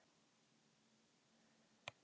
Bara með því að vera ég